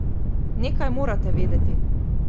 Nekaj morate vedeti.